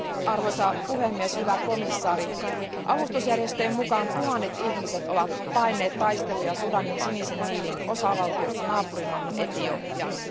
Arvoisa puhemies, hyvä komission jäsen, avustusjärjestöjen mukaan tuhannet ihmiset ovat paenneet taisteluja Sudanin Sinisen Niilin osavaltiosta naapurimaahan Etiopiaan.